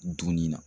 Dunni na